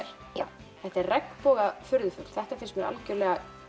já þetta er regnboga furðufugl þetta finnst mér algjörlega